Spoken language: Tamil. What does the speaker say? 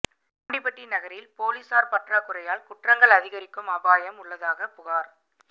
ஆண்டிபட்டி நகரில் போலீஸாா் பற்றாக்குறையால் குற்றங்கள் அதிகரிக்கும் அபாயம் உள்ளதாக புகாா்